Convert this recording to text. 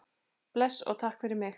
Bless og takk fyrir mig.